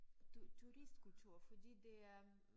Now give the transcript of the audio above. Turistkultur fordi det er